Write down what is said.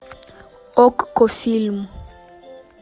окко фильм